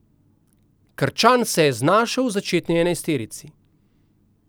Krčan se je znašel v začetni enajsterici.